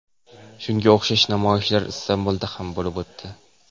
Shunga o‘xshash namoyishlar Istanbulda ham bo‘lib o‘tdi.